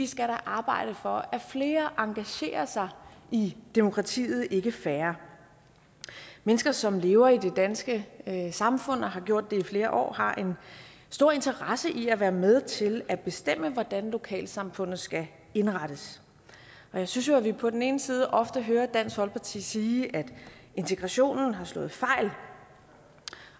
skal arbejde for at flere engagerer sig i demokratiet ikke færre mennesker som lever i det danske samfund og har gjort det flere år har en stor interesse i at være med til at bestemme hvordan lokalsamfundet skal indrettes jeg synes jo at vi på den ene side ofte hører dansk folkeparti sige at integrationen har slået fejl